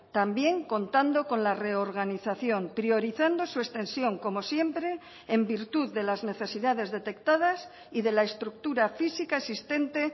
también contando con la reorganización priorizando su extensión como siempre en virtud de las necesidades detectadas y de la estructura física existente